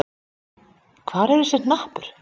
Hvar er þessi hnappur?